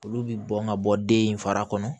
Olu bi bɔn ka bɔ den in fara kɔnɔ